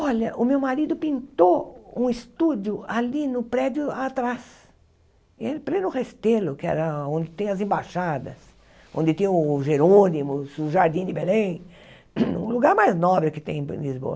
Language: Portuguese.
Olha, o meu marido pintou um estúdio ali no prédio atrás, em pleno Restelo, que é onde tem as embaixadas, onde tem o Jerônimos, o Jardim de Belém, o lugar mais nobre que tem em Lisboa.